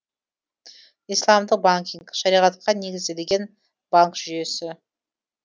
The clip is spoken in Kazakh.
исламдық банкинг шариғатқа негізделген банк жүйесі